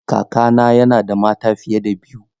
Kakana yana da mata fiye da biyu.